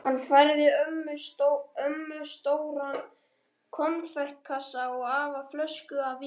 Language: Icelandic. Hann færði ömmu stóran konfektkassa og afa flösku af víni.